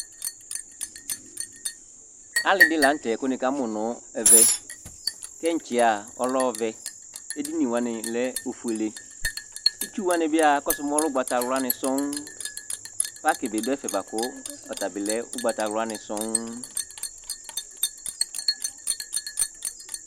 Alɩ dɩ la nʋ tɛ kʋ nɩkamʋ nʋ ɛvɛ Kɛntsi yɛ a, ɔlɛ ɔvɛ Edini wanɩ lɛ ofuele Itsu wanɩ bɩ a, akɔsʋ mɛ ɔlɛ ʋgbatawlanɩ sɔŋ Pakɩ dɩ dʋ ɛfɛ bʋa kʋ ɔta bɩ lɛ ʋgbatawlanɩ sɔŋ